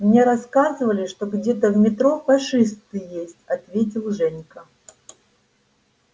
мне рассказывали что где-то в метро фашисты есть ответил женька